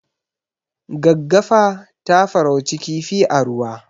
Gaggafa ta farauci kifi a ruwa